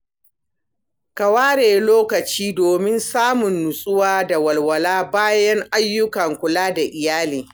Ka ware lokaci domin samun nutsuwa da walwala, bayan ayyukan kula da iyali.